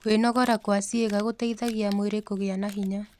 Kwĩnogora kwa cĩĩega gũteĩthagĩa mwĩrĩ kũgĩa na hinya